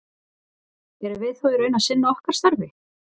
Erum við þá í raun að sinna okkar starfi?